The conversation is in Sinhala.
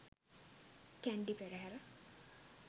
kandy perahera